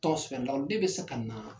Tɔgɔ sɛbɛnna den bɛ se ka na.